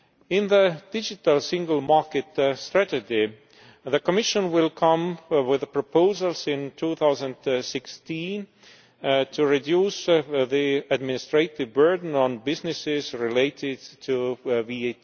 In the digital single market strategy, the Commission will come up with proposals in 2016 to reduce the administrative burden on businesses relating to VAT